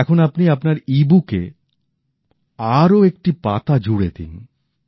এখন আপনি আপনার ইবুকে আরও একটি পাতা জুড়ে দিন